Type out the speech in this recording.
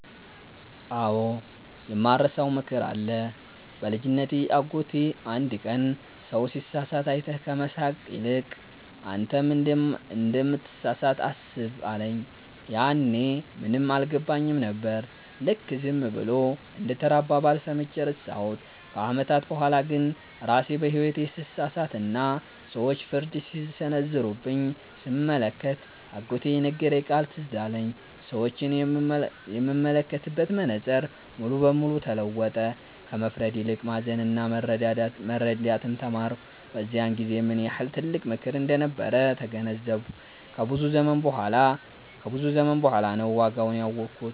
አዎ፣ የማልረሳው ምክር አለ። በልጅነቴ አጎቴ አንድ ቀን “ሰው ሲሳሳት አይተህ ከመሳለቅ ይልቅ፣ አንተም እንደምትሳሳት አስብ” አለኝ። ያኔ ምንም አልገባኝም ነበር፤ ልክ ዝም ብሎ እንደ ተራ አባባል ሰምቼ ረሳሁት። ከዓመታት በኋላ ግን ራሴ በሕይወቴ ስሳሳትና ሰዎች ፍርድ ሲሰነዘሩብኝ ስመለከት፣ አጎቴ የነገረኝ ቃል ትዝ አለኝ። ሰዎችን የምመለከትበት መነጽር ሙሉ ለሙሉ ተለወጠ፤ ከመፍረድ ይልቅ ማዘንና መረዳትን ተማርኩ። በዚያን ጊዜ ምን ያህል ጥልቅ ምክር እንደነበር ተገነዘብኩ፤ ከብዙ ዘመን በኋላ ነው ዋጋውን ያወኩት።